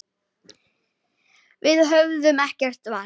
Við höfðum ekkert val.